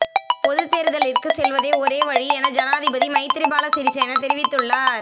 பொதுத்தேர்தலிற்கு செல்வதே ஒரே வழி என ஜனாதிபதி மைத்திரிபால சிறிசேன தெரிவித்துள்ளார்